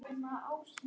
Hóstaði hann?